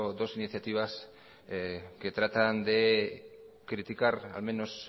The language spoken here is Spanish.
dos iniciativas que tratan de criticar al menos